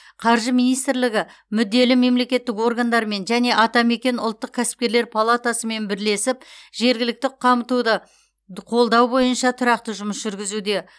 қаржы министрлігі мүдделі мемлекеттік органдармен және атамекен ұлттық кәсіпкерлер палатасымен бірлесіп жергілікті қамтуды қолдау бойынша тұрақты жұмыс жүргізуде